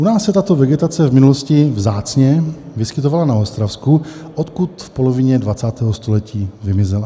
U nás se tato vegetace v minulosti vzácně vyskytovala na Ostravsku, odkud v polovině 20. století vymizela.